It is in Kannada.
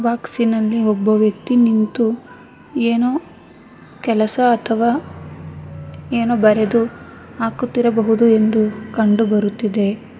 ಬಾಕ್ಸಿನಲ್ಲಿ ಒಬ್ಬ ವ್ಯಕ್ತಿ ನಿಂತು ಏನೋ ಕೆಲಸ ಅಥವಾ ಏನೋ ಬರೆದು ಹಾಕುತ್ತಿರಬಹುದು ಎಂದು ಕಂಡು ಬರುತ್ತಿದೆ.